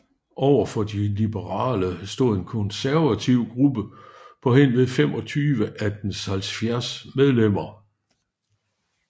Overfor de liberale stod en konservativ gruppe på henved 25 af dens 70 medlemmer